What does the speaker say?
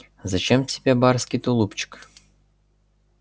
а зачем тебе барский тулупчик